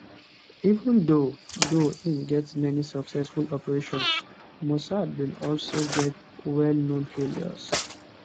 even though though em get many successful operations mossad bin also get well known failures